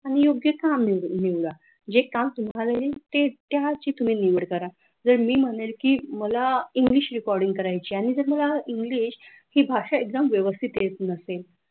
आणि योग्य काम निवडा जे काम तुम्हाला येईल ते त्याचीच मी निवड करा तर मी म्हणेल की मला english recording करायचे आहे आणि जर मला इंग्लिश ची भाषा एकदम व्यवस्थित येत नसेल.